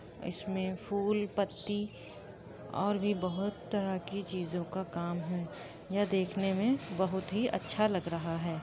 इसमें फूल पत्ती और भी बहोत तरह की चीजों का काम हैं। यह देखने में बहोत ही अच्छा लग रहा है।